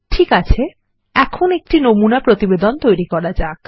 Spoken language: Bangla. ঠিক আছে এখন একটি নমুনা প্রতিবেদন তৈরি করা যাক